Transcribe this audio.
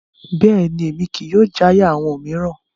Bẹ́ẹ̀ni, Emi kii yóò jaya awọn miiran